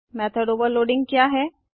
method overloading क्या है